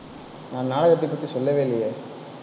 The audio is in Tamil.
நான் நாடகத்தை பற்றி சொல்லவே இல்லையே.